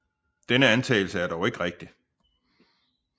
Denne antagelse er dog ikke rigtig